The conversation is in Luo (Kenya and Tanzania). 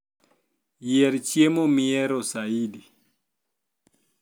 yier chiemomihero saidi